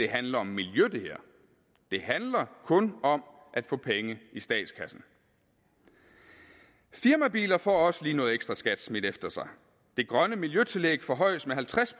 handler om miljø det handler kun om at få penge i statskassen firmabiler får også lige noget ekstraskat smidt efter sig det grønne miljøtillæg forhøjes med halvtreds